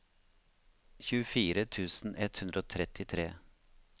tjuefire tusen ett hundre og trettitre